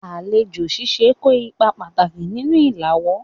Alejo sise ko ipa pataki ninu ilawo